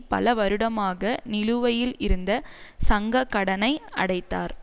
பல வருடமாக நிலுவையில் இருந்த சங்ககடனை அடைத்தார்